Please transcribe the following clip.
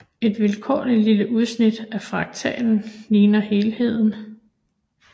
Et vilkårligt lille udsnit af fraktalen ligner helheden